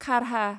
खारहा